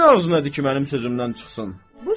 Kimin ağzı nədədir ki, mənim sözümdən çıxsın?